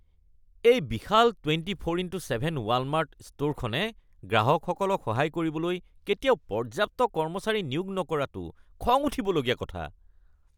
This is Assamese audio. এই বিশাল ২৪x৭ ৱালমাৰ্ট ষ্টোৰখনে গ্ৰাহকসকলক সহায় কৰিবলৈ কেতিয়াও পৰ্যাপ্ত কৰ্মচাৰী নিয়োগ নকৰাটো খং উঠিব লগা কথা।